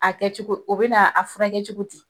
A kɛcogo o bɛ na a furakɛ kɛ cogo di?